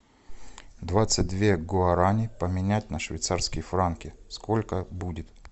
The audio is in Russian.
двадцать две гуарани поменять на швейцарские франки сколько будет